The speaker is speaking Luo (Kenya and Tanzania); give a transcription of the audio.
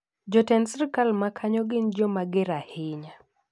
Jotend sirkal ma kanyo gin jo mager ahinya.